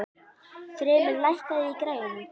Þrymur, lækkaðu í græjunum.